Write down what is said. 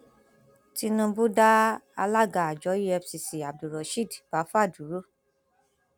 tinubu dá alága àjọ efcc abdulrosheed báfá dúró